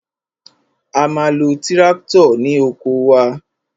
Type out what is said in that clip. A ma lo tíráktọ̀ ní oko wa.